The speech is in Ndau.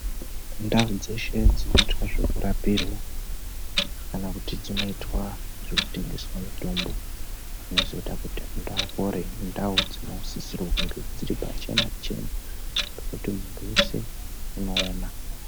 Ndaudzeshe dzinoitwa zvekurapirwa kana kuti dzinoitwa zvekutengeswa mitombo zvinozoita kuti antu apore indau dzinosisirwe kunge dziri pachena chena pekuti muntu weshe unoona.